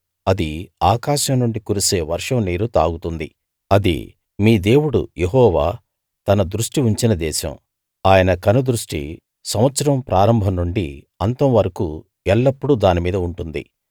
అది ఆకాశం నుండి కురిసే వర్షం నీరు తాగుతుంది అది మీ దేవుడు యెహోవా తన దృష్టి ఉంచిన దేశం ఆయన కనుదృష్టి సంవత్సరం ప్రారంభం నుండి అంతం వరకూ ఎల్లప్పుడూ దానిమీద ఉంటుంది